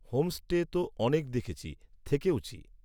homestay তো অনেক দেখেছি, থেকেওছি